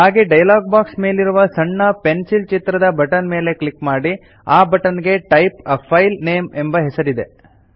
ಹಾಗೆ dialog box ಮೇಲಿರುವ ಸಣ್ಣ ಪೆನ್ಸಿಲ್ ಚಿತ್ರದ ಬಟನ್ ಮೇಲೆ ಕ್ಲಿಕ್ ಮಾಡಿ ಆ ಬಟನ್ ಗೆ ಟೈಪ್ a ಫೈಲ್ ನೇಮ್ ಎಂಬ ಹೆಸರಿದೆ